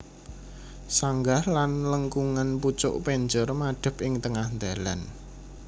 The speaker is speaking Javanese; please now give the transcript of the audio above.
Sanggah lan lengkungan pucuk penjor madhep ing tengah dhalan